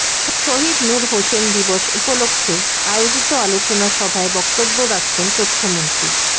শহীদ নূর হোসেন দিবস উপলক্ষে আয়োজিত আলোচনা সভায় বক্তব্য রাখছেন তথ্যমন্ত্রী